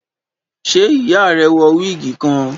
ṣe iya rẹ wọ wigi kan?